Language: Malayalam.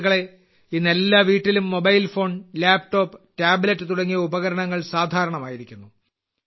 സുഹൃത്തുക്കളേ ഇന്ന് എല്ലാ വീട്ടിലും മൊബൈൽ ഫോൺ ലാപ്ടോപ്പ് ടാബ്ലെറ്റ് തുടങ്ങിയ ഉപകരണങ്ങൾ സാധാരണമായിരിക്കുന്നു